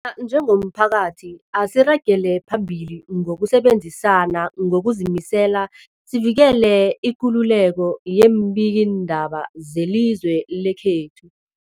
a njengomphakathi, asiragele phambili ngokusebenzisana ngokuzimisela sivikele ikululeko yeembikiindaba zelizwe lekhethu.